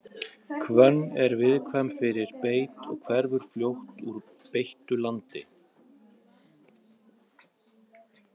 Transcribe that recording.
hvönn er viðkvæm fyrir beit og hverfur fljótt úr beittu landi